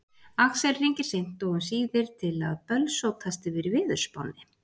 Axel hringir seint og um síðir til að bölsótast yfir veðurspánni.